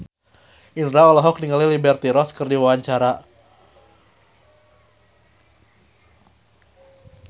Indro olohok ningali Liberty Ross keur diwawancara